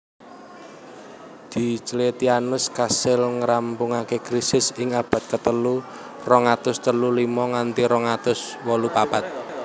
Diocletianus kasil ngrampungaké Krisis ing abad katelu rong atus telu limo nganti rong atus wolu papat